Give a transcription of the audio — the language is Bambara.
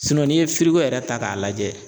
n'i ye yɛrɛ ta k'a lajɛ